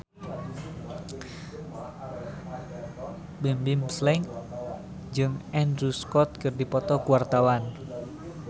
Bimbim Slank jeung Andrew Scott keur dipoto ku wartawan